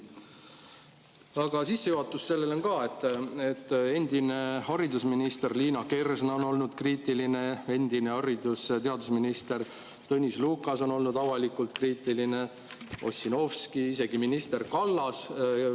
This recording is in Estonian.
Aga sissejuhatus sellele on ka, et endine haridusminister Liina Kersna on olnud kriitiline, endine haridus‑ ja teadusminister Tõnis Lukas on olnud avalikult kriitiline, Ossinovski, isegi minister Kallas.